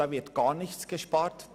Da wird gar nichts gespart.